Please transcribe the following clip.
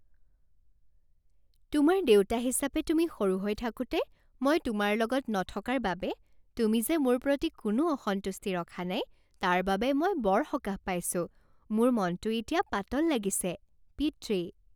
তোমাৰ দেউতা হিচাপে তুমি সৰু হৈ থাকোঁতে মই তোমাৰ লগত নথকাৰ বাবে তুমি যে মোৰ প্ৰতি কোনো অসন্তুষ্টি ৰখা নাই তাৰ বাবে মই বৰ সকাহ পাইছোঁ। মোৰ মনটো এতিয়া পাতল লাগিছে। পিতৃ